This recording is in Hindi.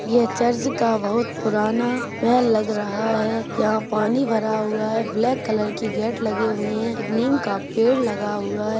ये चर्च का बहुत पुराना महल लग रहा है यहाँ पानी भरा हुआ है ब्लैक कलर का गैट लगा हुआ है एक निम का पेड़ लगा हुआ है।